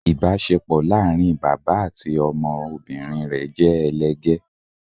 ibaṣepọ láarin bàbá àti ọmọ obìrin rẹ jẹ elegè